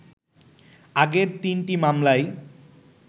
আগের তিনটি মামলায়